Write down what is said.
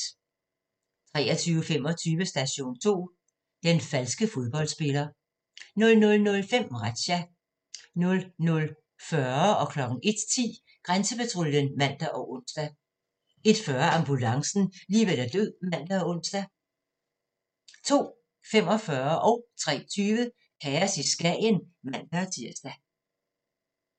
23:25: Station 2: Den falske fodboldspiller 00:05: Razzia 00:40: Grænsepatruljen (man og ons) 01:10: Grænsepatruljen (man og ons) 01:40: Ambulancen - liv eller død (man og ons) 02:45: Kaos i Skagen (man-tir) 03:20: Kaos i Skagen (man-tir)